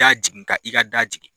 Da jigin ka i ka da jigin